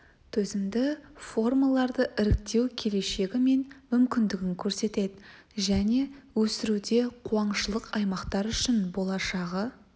төзімді формаларды іріктеу келешегі мен мүмкіндігін көрсетеді және өсіруде қуаңшылық аймақтар үшін болашағы